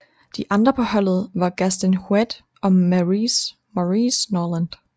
De andre på holdet var Gaston Heuet og Maurice Norland